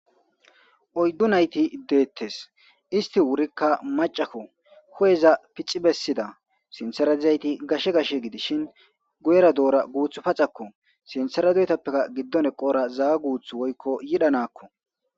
Oydu nayti detes isti wurika macako hu'eza pixi besida sinthera dizayti gashe gashe gidishin guyera dora guthara paxako sinthara dorippeka gidon eqora zawa guthu yidha nako